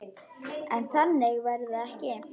En þannig verður það ekki.